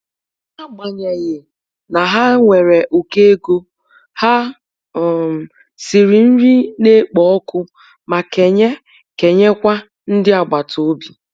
N'agbanyeghị na ha nwere ukọ ego, ha um siri nri na-ekpo ọkụ ma kenye kenye kwa ndị agbata obi.